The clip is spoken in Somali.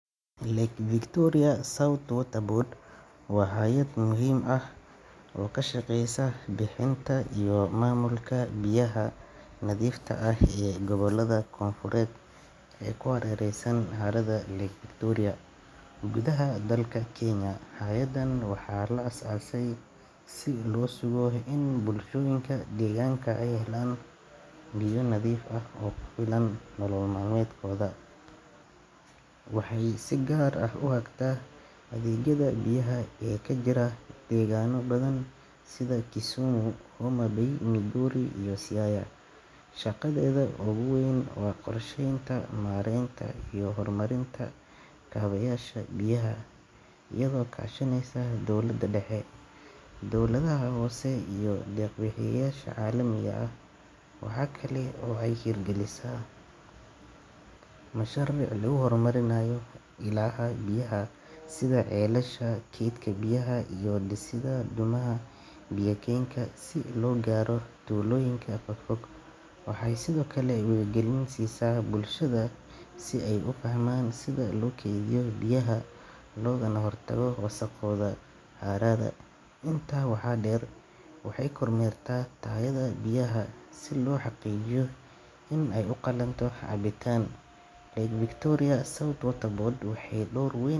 Lake Victoria South Water Board waa hay'ad muhiim ah oo ka shaqeysa bixinta iyo maamulka biyaha nadiifta ah ee gobollada koonfureed ee ku hareeraysan harada Lake Victoria gudaha dalka Kenya. Hay'addan waxaa la aasaasay si loo sugo in bulshooyinka deegaanka ay helaan biyo nadiif ah oo ku filan nolol maalmeedkooda. Waxay si gaar ah u hagtaa adeegyada biyaha ee ka jira deegaanno badan sida Kisumu, Homa Bay, Migori iyo Siaya. Shaqadeeda ugu weyn waa qorsheynta, maareynta iyo horumarinta kaabayaasha biyaha iyadoo kaashaneysa dowlada dhexe, dowladaha hoose iyo deeq-bixiyeyaasha caalamiga ah. Waxa kale oo ay hirgelisaa mashaariic lagu horumarinayo ilaha biyaha sida ceelasha, kaydka biyaha iyo dhisidda dhuumaha biyo keenka si loo gaaro tuulooyinka fog fog. Waxay sidoo kale wacyigelin siisaa bulshada si ay u fahmaan sida loo keydiyo biyaha loogana hortago wasakhowga harada. Intaa waxaa dheer, waxay kormeerta tayada biyaha si loo xaqiijiyo in ay u qalanto cabitaan. Lake Victoria South Water Board waxay door weyn.